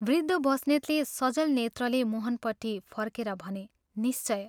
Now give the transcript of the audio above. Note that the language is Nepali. वृद्ध बस्नेतले सजल नेत्रले मोहनपट्टि फर्केर भने " निश्चय।